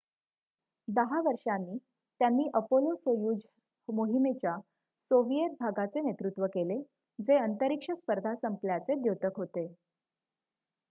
10 वर्षांनी त्यांनी अपोलो-सोयुझ मोहिमेच्या सोविएत भागाचे नेतृत्व केले जे अंतरिक्ष स्पर्धा संपल्याचे द्योतक होते